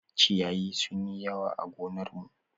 Ciyayi sun yi yawa a gonar mu.